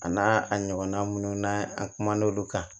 A n'a a ɲɔgɔnna minnu n'an kum'olu kan